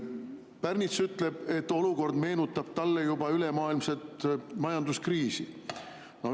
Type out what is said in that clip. Pärnits ütleb, et olukord meenutab talle juba ülemaailmset majanduskriisi.